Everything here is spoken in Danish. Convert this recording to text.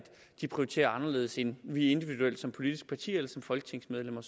de prioriterer anderledes end vi individuelt eller som politisk partier eller som folketingsmedlemmer